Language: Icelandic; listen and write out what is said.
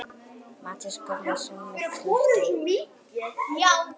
Matthías Guðmundsson með knöttinn.